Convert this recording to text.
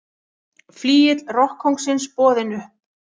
Flygill rokkkóngsins boðinn upp